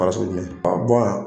jumɛn ka bɔ yan